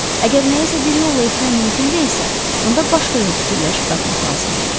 Əgər nəyisə bir yolla etmək mümkün deyilsə, onda başqa yol fikirləşib tapmaq lazımdır.